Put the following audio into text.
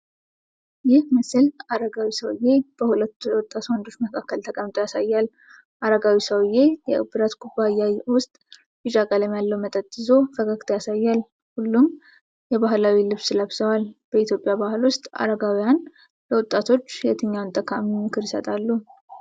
ይህ ምስል አረጋዊ ሰውዬ በሁለት ወጣት ወንዶች መካከል ተቀምጦ ያሳያል። አረጋዊው ሰውዬ የብረት ኩባያ ውስጥ ቢጫ ቀለም ያለው መጠጥ ይዞ ፈገግታ ያሳያል። ሁሉም የባህላዊ ልብስ ለብሰዋል በኢትዮጵያ ባህል ውስጥ አረጋውያን ለወጣቶች የትኛውን ጠቃሚ ምክር ይሰጣሉ?